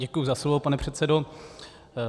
Děkuji za slovo, pane předsedo.